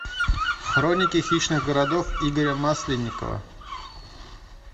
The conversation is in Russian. хроники хищных городов игоря масленникова